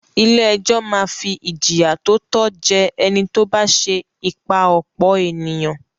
Ilé-ẹjọ́ máa fi ìjìyà tó tọ́ jẹ ẹni tó bá ṣẹ ìpà-ọ̀pọ̀-ènìyàn.